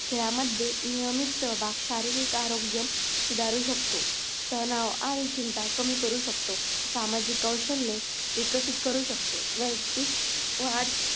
खेळामध्ये नियमित सहभाग शारीरिक आरोग्य सुधारू शकतो. तनाव आणि चिंता कमी करू शकतो. सामाजिक कौशल्ये विकसित करू शकतो. व्ययक्तिक वाढ